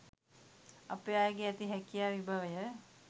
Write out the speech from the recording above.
අපේ අයගේ ඇති හැකියාවේ විභවය